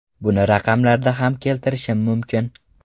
Buni raqamlarda ham keltirishim mumkin.